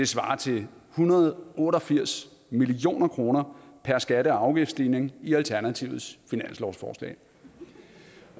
svarer til en hundrede og otte og firs million kroner per skatte og afgiftsstigning i alternativets finanslovsforslag